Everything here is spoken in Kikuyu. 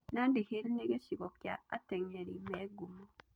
Nandi Hills nĩ gĩcigo kĩa atenyeri me ngumo.